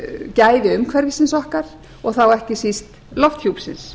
gæði umhverfisins okkar og þá ekki síst lofthjúpsins